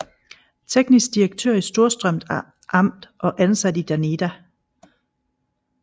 Teknisk Direktør i Storstrøms Amt og ansat i DANIDA